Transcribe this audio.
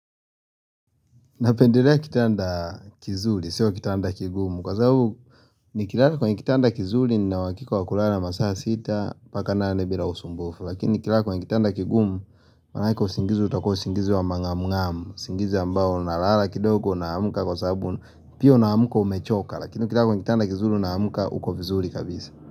Napendelea kitanda kizuri, sio kitanda kigumu Kwa sababu nikilala kwenye kitanda kizuri nina uhakika wa kulala masaa sita Paka nane bila usumbufu Lakini nikilala kwenye kitanda kigumu Manake usingizi utakua usingizi wa mangamu ngamu isingizi ambao nalala kidogo na hamuka kwa sababu Pia unaamka umechoka Lakini ukilala kwenye kitanda kizuri unaamka uko vizuri kabisa.